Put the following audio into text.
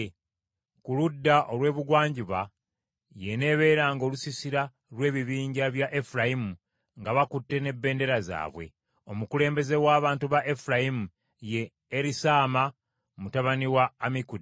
Ku ludda olw’ebugwanjuba y’eneebeeranga olusiisira lw’ebibinja bya Efulayimu nga bakutte n’ebendera zaabwe. Omukulembeze w’abantu ba Efulayimu ye Erisaama mutabani wa Ammikudi.